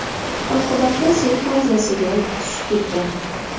Oqibatda suv havzasiga tushib ketgan.